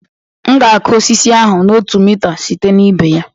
M ga-akụ osisi ahụ otu mita site na ibe ya